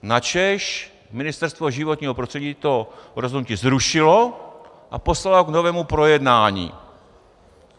Načež Ministerstvo životního prostředí to rozhodnutí zrušilo a poslalo ho k novému projednání.